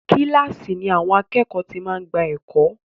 Kílàsì ni àwọn àkẹ́ẹ̀kọ́ ti máa ń gbà ẹ̀kọ́.